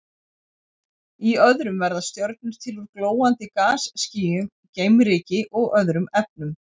Í öðrum verða stjörnur til úr glóandi gasskýjum, geimryki og öðrum efnum.